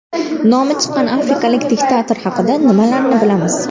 Nomi chiqqan afrikalik diktator haqida nimalarni bilamiz?